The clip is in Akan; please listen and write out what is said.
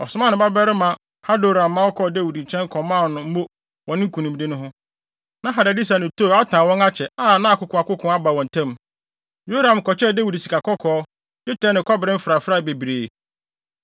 ɔsomaa ne babarima Hadoram ma ɔkɔɔ Dawid nkyɛn kɔmaa no mo wɔ ne nkonimdi no ho. Na Hadadeser ne Tou atan wɔn ho akyɛ, a na akokoakoko aba wɔn ntam. Yoram kɔkyɛɛ Dawid sikakɔkɔɔ, dwetɛ ne kɔbere mfrafrae bebree.